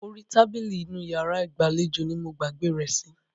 Orí tábìlì inú iyàrá ìgbàlejò ní mo gbàgbé rẹ̀ sí.